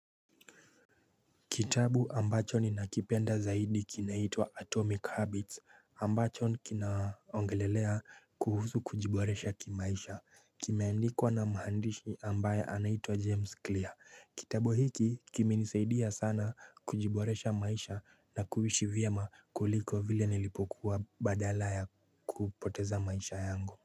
Kitabu ambacho ni nakipenda zaidi kinaitwa Atomic Habits ambacho kinaongelelea kuhusu kujiboresha kimaisha kimeandikwa na mhandishi ambaye anaitwa James Clear Kitabu hiki kimenisaidia sana kujiboresha maisha na kuishi vyema kuliko vile nilipokuwa badala ya kupoteza maisha yangu.